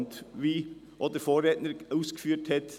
Und, wie mein Vorredner richtig ausgeführt hat: